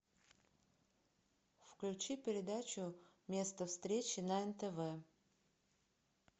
включи передачу место встречи на нтв